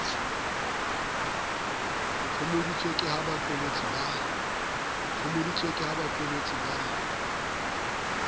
phomoditswe ke ha baqolotsi ba